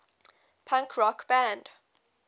punk rock band